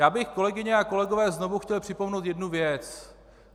Já bych, kolegyně a kolegové, znovu chtěl připomenout jednu věc.